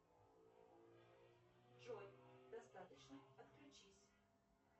джой достаточно отключись